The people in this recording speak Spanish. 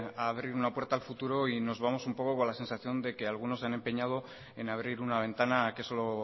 a abrir una puerta al futuro y nos vamos un poco con la sensación de que algunos se han empeñado en abrir una ventana que solo